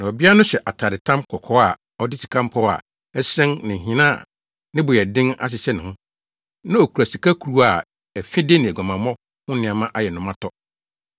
Na ɔbea no hyɛ atadetam kɔkɔɔ a ɔde sika mpɔw a ɛhyerɛn ne nhene a ne bo yɛ den ahyehyɛ ne ho. Na okura sika kuruwa a afide ne aguamammɔ ho nneɛma ayɛ no ma tɔ.